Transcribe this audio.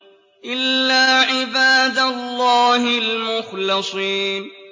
إِلَّا عِبَادَ اللَّهِ الْمُخْلَصِينَ